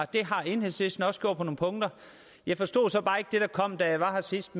det har enhedslisten også gjort på nogle punkter jeg forstod så bare ikke det der kom da jeg var her sidst